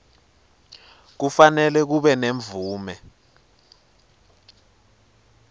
kufanele kube nemvume